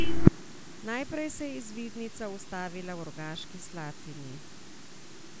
Najprej se je izvidnica ustavila v Rogaški Slatini.